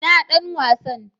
ina Dan wasan?